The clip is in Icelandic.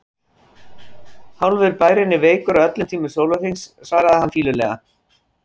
Hálfur bærinn er veikur á öllum tímum sólarhrings svaraði hann fýlulega.